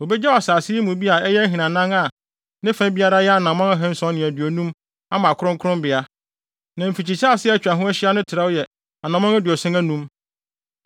Wobegyaw asase yi mu bi a ɛyɛ ahinanan a ne fa biara yɛ anammɔn ahanson ne aduonum (750) ama kronkronbea, na mfikyisase a atwa ho ahyia no trɛw yɛ anammɔn aduɔson anum (75).